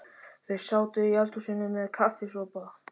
Þau sátu í eldhúsinu með kaffisopa.